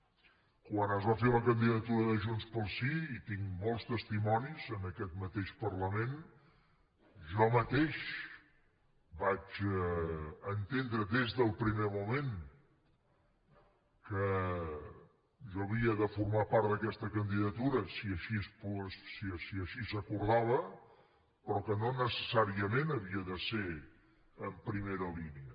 quan es va fer la candidatura de junts pel sí i tinc molts testimonis en aquest mateix parlament jo mateix vaig entendre des del primer moment que jo havia de formar part d’aquesta candidatura si així s’acordava però que no necessàriament havia de ser en primera línia